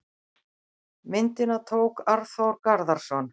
Myndina tók Arnþór Garðarsson.